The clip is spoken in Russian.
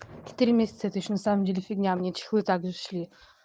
четыре месяца это ещё на самом деле фигня мне чехлы также шли